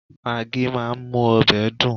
Magí máa ń mú ọbẹ̀ dùn